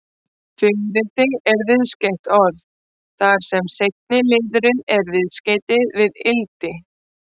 Fiðrildi er viðskeytt orð, þar sem seinni liðurinn er viðskeytið-ildi.